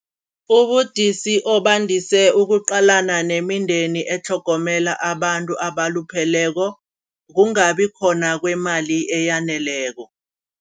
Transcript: Ubudisi obandise obuqalana nemindeni etlhogomela abantu abalupheleko kungabi khona kwemali eyaneleko.